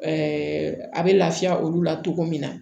a bɛ lafiya olu la cogo min na